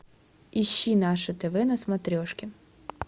ищи наше тв на смотрешке